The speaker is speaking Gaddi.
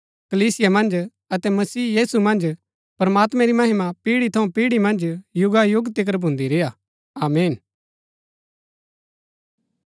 कलीसिया मन्ज अतै मसीह यीशु मन्ज प्रमात्मैं री महिमा पीढ़ी थऊँ पीढ़ी मन्ज युगायुग तिकर भुन्दी रेय्आ आमीन